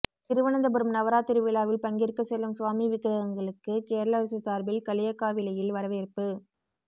திருவனந்தபுரம் நவராத்திரி விழாவில் பங்கேற்கச் செல்லும் சுவாமி விக்கிரகங்களுக்கு கேரள அரசு சாா்பில் களியக்காவிளையில் வரவேற்பு